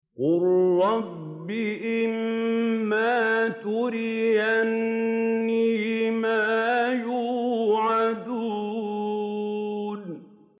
قُل رَّبِّ إِمَّا تُرِيَنِّي مَا يُوعَدُونَ